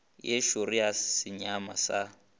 ye šoro sa nyama sa